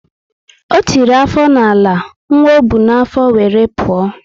O tiri afọ na ala, nwa ọ bu na afo wéré pụọ